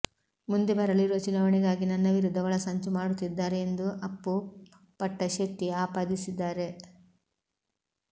ಮುಂದೆ ಬರಲಿರುವ ಚುನಾವಣೆಗಾಗಿ ನನ್ನ ವಿರುದ್ಧ ಒಳಸಂಚು ಮಾಡುತ್ತಿದ್ದಾರೆ ಎಂದು ಅಪ್ಪು ಪಟ್ಟಶೆಟ್ಟಿ ಆಪಾದಿಸಿದ್ದಾರೆ